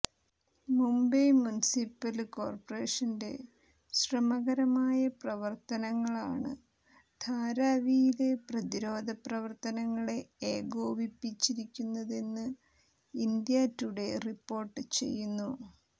Mumbai municipal കോര്പറേഷന്റെ ശ്രമകരമായ പ്രവര്ത്തനങ്ങളാണ് ധാരാവിയില് പ്രതിരോധ പ്രവര്ത്തനങ്ങളെ ഏകോപിപ്പിച്ചതെന്ന് ഇന്ത്യാ ടുഡേ റിപ്പോര്ട്ട് ചെയ്യുന്നു